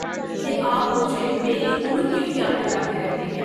یہ آپ مجھے میری عمر کیوں یاد دلاتے رہتے ہیں؟